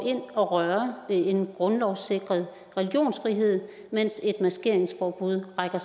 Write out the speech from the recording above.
ind og rører ved en grundlovssikret religionsfrihed mens et maskeringsforbud rækker